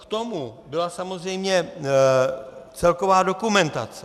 K tomu byla samozřejmě celková dokumentace.